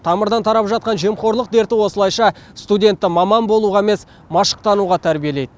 тамырдан тарап жатқан жемқорлық дерті осылайша студентті маман болуға емес машықтануға тәрбиелейді